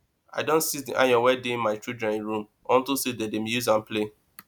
i don seize the iron wey dey my children room unto say dem dey use am play